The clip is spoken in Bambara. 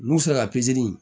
N'u sera